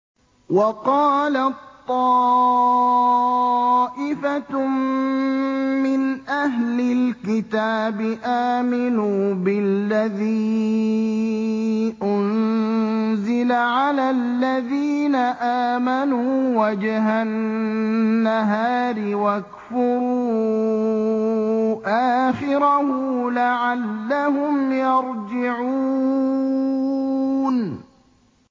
وَقَالَت طَّائِفَةٌ مِّنْ أَهْلِ الْكِتَابِ آمِنُوا بِالَّذِي أُنزِلَ عَلَى الَّذِينَ آمَنُوا وَجْهَ النَّهَارِ وَاكْفُرُوا آخِرَهُ لَعَلَّهُمْ يَرْجِعُونَ